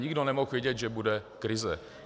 Nikdo nemohl vědět, že bude krize.